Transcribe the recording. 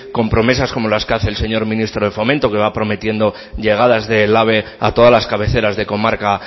con promesas como las que hace el señor ministro de fomento que va prometiendo llegadas del ave a todas las cabeceras de comarca